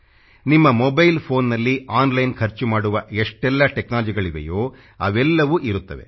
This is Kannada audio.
ನಿಮ್ಮ ಮೊಬೈಲ್ PHONEನಲ್ಲಿ ಆನ್ಲೈನ್ ಖರ್ಚು ಮಾಡುವ ಎಷ್ಟೆಲ್ಲ TECHNOLOGYಗಳಿವೆಯೋ ಅವೆಲ್ಲವೂ ಇರುತ್ತವೆ